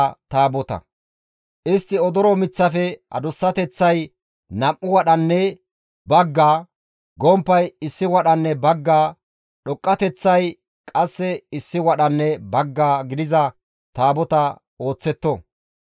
«Istti odoro miththafe adussateththay nam7u wadhanne bagga, gomppay issi wadhanne bagga, dhoqqateththay qasse issi wadhanne bagga gidiza Taabota ooththetto.